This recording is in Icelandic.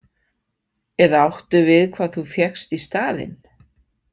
Eða áttu við hvað þú fékkst í staðinn?